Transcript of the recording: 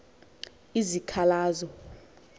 izikhalazo